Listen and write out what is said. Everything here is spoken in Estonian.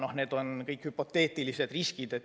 Aga need kõik on hüpoteetilised riskid.